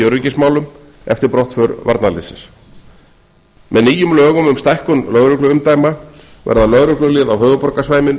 öryggismálum eftir brottför varnarliðsins með nýjum lögum um stækkun lögregluumdæma verða lögreglulið á höfuðborgarsvæðinu